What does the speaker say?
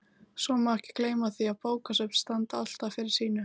Svo má ekki gleyma því að bókasöfn standa alltaf fyrir sínu.